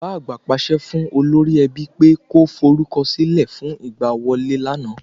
Bàbá àgbà pàṣẹ fún Olórí ẹbí pe kó forúkọ sílẹ̀ fún ìgbà wọlé lana